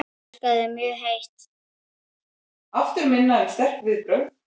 Ég elska þig mjög heitt.